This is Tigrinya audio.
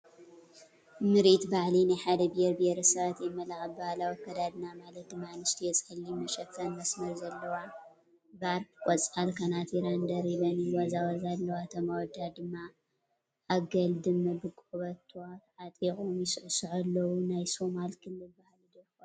ምርኢት ባህሊ ናይ ሓደ ብሄር ብሄረሰባት የመላኽት፡፡ ብባህላዊ ኣከዳዳድና ማለት ድማ አንስትዮ ፀሊም መሸፈን፣ መስመር ዘለዎ ቫርኘ፣ ቆፃል ከናቲራን ደሪበን ይዋዛወዛ ኣለዋ፡፡ እቶም ኣወዳት ድማ ኣገልድም ብቆቦቶ ተዓጢቖም ይስዕሱዑ ኣለው፡፡ ናይ ሶማል ክልል ባህሊ ዶ ይኸውን?